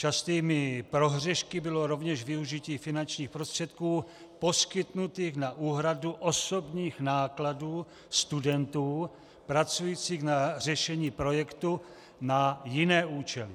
Častými prohřešky bylo rovněž využití finančních prostředků poskytnutých na úhradu osobních nákladů studentů pracujících na řešení projektu na jiné účely.